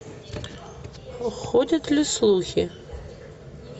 ходят ли слухи